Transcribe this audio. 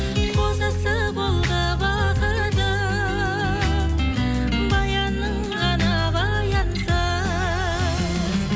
қозысы болды бақыты баянның ғана баянсыз